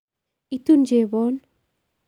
Itun chebon